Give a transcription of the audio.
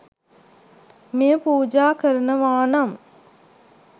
මෙය පූජා කරනවානම්